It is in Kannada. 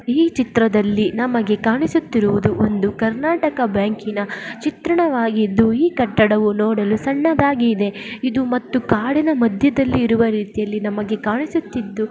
ಈ ಚಿತ್ರದಲ್ಲಿ ನಮಗೆ ಕಾಣಿಸುತ್ತಿರುವುದು ಒಂದು ಕರ್ನಾಟಕ ಬ್ಯಾಂಕಿನ ಚಿತ್ರಣವಾಗಿದ್ದು ಈ ಕಟ್ಟಡವು ನೋಡಲು ಸಣ್ಣದಾಗಿದೆ ಇದು ಮತ್ತು ಕಾಡಿನ ಮಧ್ಯದಲ್ಲಿ ಇರುವ ರೀತಿಯಲ್ಲಿ ನಮಗೆ ಕಾಣಿಸುತ್ತಿದ್ದು .